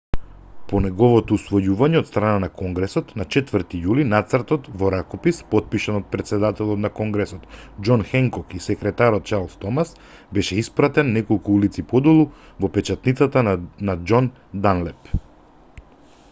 по неговото усвојување од страна на конгресот на 4 јули нацртот во ракопис потпишан од претседателот на конгресот џон хенкок и секретарот чарлс томас беше испратен неколку улици подолу во печатницата на џон данлеп